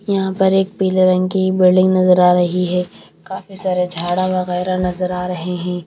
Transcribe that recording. यहां पर एक पीले रंग की बिल्डिंग नजर आ रही है। काफी सारे झाड़ा वगैरा नजर आ रहे हैं।